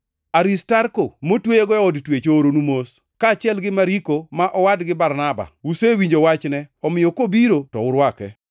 Aristarko motweyago e od twech ooronu mos, kaachiel gi Mariko ma owad gi Barnaba. (Usewinjo wachne, omiyo kobiro to urwake.)